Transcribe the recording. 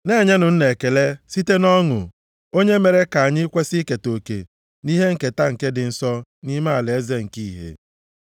na-enyenụ Nna ekele site nʼọṅụ, onye mere ka anyị kwesi iketa oke nʼihe nketa nke ndị nsọ nʼime alaeze nke ìhè.